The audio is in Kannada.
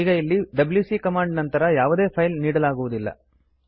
ಈಗ ಇಲ್ಲಿ ಡಬ್ಯೂಸಿ ಕಮಾಂಡ್ ನಂತರ ಯಾವುದೇ ಫೈಲ್ ನೀಡಲಾಗುವುದಿಲ್ಲ